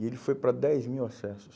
E ele foi para dez mil acessos.